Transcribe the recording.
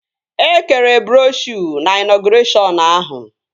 E kere broshuo na ịnọgụreshọn ahụ